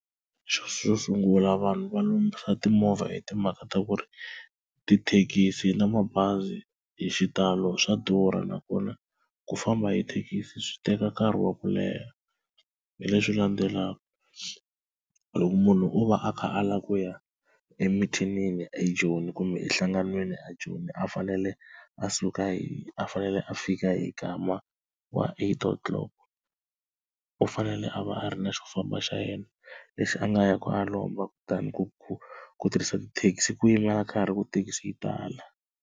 Xo sungula vanhu va lombisa timovha hi timhaka ta ku ri tithekisi na mabazi hi xitalo swa durha nakona ku famba hi thekisi swi teka nkarhi wa ku leha, hi leswi landzelaka loko munhu o va a kha a lava ku ya emithinini eJoni kumbe enhlanganweni ajoni a fanele a suka hi a fanele a fika hi nkama wa eight o'clock. U fanele a va a ri na xo famba xa yena lexi a nga ya ku a ya lomba kutani ku ku ku tirhisa tithekisi ku yimela nkarhi ku thekisi yi tala.